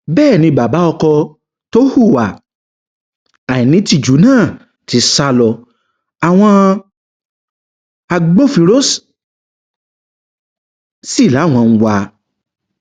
bẹẹ ni bàbá ọkọ tó hùwà àìnítìjú náà ti sá lọ àwọn agbófinró sí làwọn ń wá a